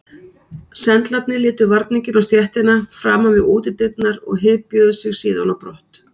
Sendlarnir létu varninginn á stéttina framan við útidyrnar og hypjuðu sig síðan á brott.